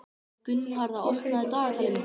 Gunnharða, opnaðu dagatalið mitt.